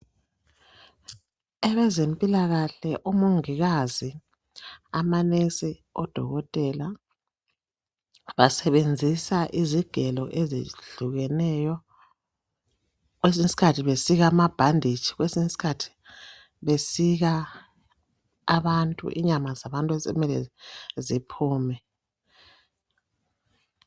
abezempikahle omongikazi ama nurse odokotela basbenzisa izigelo ezehlukeneyo kwesinye isikhathi besika amabhanditshi kwesinye isikhathi besika abantu inyama zabantu osokumele ziphume